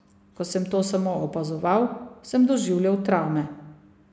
Ko sem to samo opazoval, sem doživljal travme.